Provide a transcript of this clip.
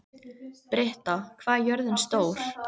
Britta, hvað er jörðin stór?